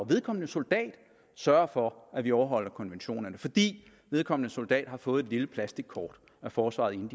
vedkommende soldat sørge for at vi overholder konventionerne fordi vedkommende soldat har fået et lille plastikkort af forsvaret inden